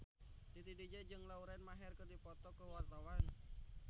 Titi DJ jeung Lauren Maher keur dipoto ku wartawan